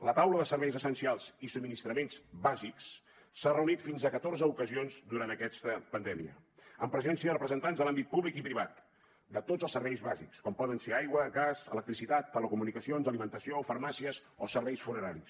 la taula de serveis essencials i subministraments bàsics s’ha reunit fins a catorze ocasions durant aquesta pandèmia amb presència de representants de l’àmbit públic i privat de tots els serveis bàsics com poden ser aigua gas electricitat telecomunicacions alimentació farmàcies o serveis funeraris